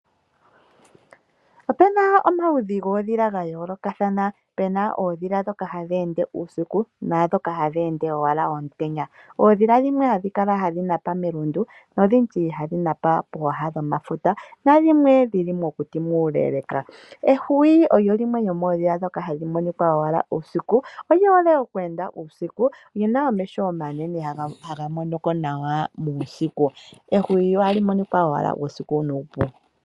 Opena omaludhi gOodhila ga yoolokathana. Pena oodhila dhoka hadhi ende uusiku naadhoka hadhi ende owala omutenya. Oodhila dhimwe hadhi kala hadhi napa melundu, nodhindji hadhi napa pooha dhomafuta na dhimwe dhili mokuti muuleeleka. Ehwiyu olyo limwe lyo moodhila dhoka hadhi monika owala uusiku, oli hole oku enda uusiku lina omeho omanene haga monoko nawa uusiku. Ehwiyu ohali monika owala uusiku nuupu.